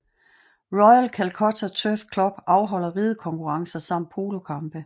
Royal Calcutta Turf Club afholder ridekonkurrencer samt polokampe